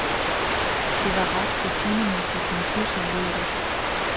Det var ret rutinemæssigt, men pludselig lød det.